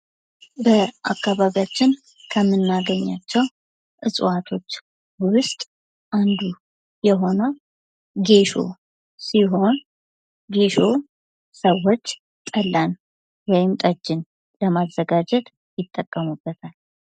በአካባቢያችን ከምናገኛቸው እፅዋቶች ዉስጥ አንዱ የሆነው ጌሾ ሲሆን ጌሾ ሰዎች ጠላን ወይም ጠጅን ለማዘጋጀት ይጠቀሙበታል::